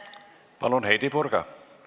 Palun, Heidy Purga!